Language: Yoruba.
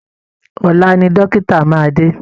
Ọ̀la ni dọ́kítà máa dé